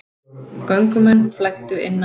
Göngumenn flæddu inn á